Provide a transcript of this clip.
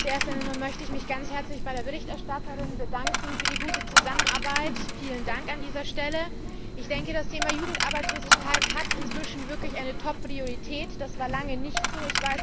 Zuerst einmal möchte ich mich ganz herzlich bei der Berichterstatterin für die gute Zusammenarbeit bedanken. Vielen Dank an dieser Stelle! Ich denke, das Thema Jugendarbeitslosigkeit hat inzwischen wirklich eine Top Priorität. Das war lange nicht so.